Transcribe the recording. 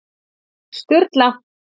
Sturla